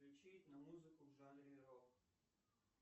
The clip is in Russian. включить на музыку в жанре рок